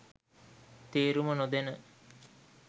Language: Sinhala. තේරුම නොදැන